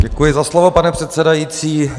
Děkuji za slovo, pane předsedající.